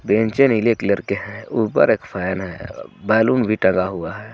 बेंचे नीले कलर के हे ऊपर एक फैन हे बेलून भी टंगा हुआ हे.